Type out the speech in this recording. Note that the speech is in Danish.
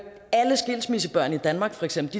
alle skilsmissebørn i danmark